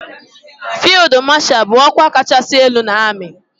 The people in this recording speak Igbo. Fild mashal bu okwa kachasi elu na ami.